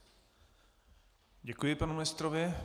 Děkuji panu ministrovi.